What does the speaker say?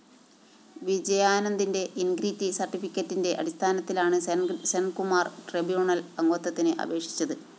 വിജയാനന്ദിന്റെ integrity സര്‍ട്ടിഫിക്കറ്റിന്റെ അടിസ്ഥാനത്തിലാണ് Senkumar‍ tribunal‍ അംഗത്വത്തിന് അപേക്ഷിച്ചത്